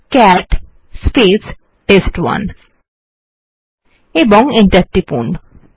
cat test one ও enter টিপুন